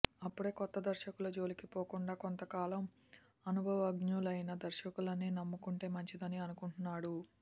అప్పుడే కొత్త దర్శకుల జోలికి పోకుండా కొంతకాలం అనుభవజ్ఞులైన దర్శకులనే నమ్ముకుంటే మంచిదని అనుకుంటున్నాడు